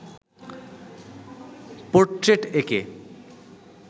portrait এঁকে